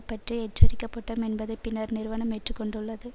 பற்றி எச்சரிக்கப்பட்டோம் என்பதை பின்னர் நிறுவனம் ஏற்றுக்கொண்டுள்ளது